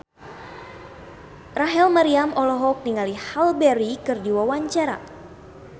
Rachel Maryam olohok ningali Halle Berry keur diwawancara